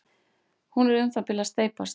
Hún er um það bil að steypast.